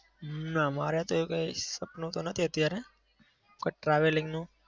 ના. મારે તો એવું કંઈ સપનું તો નથી અત્યારે કોઈ travelling નું.